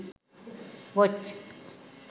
watch